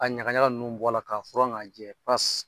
A ɲagaɲa ninnu bɔ a la k'a furan k'a jɛ .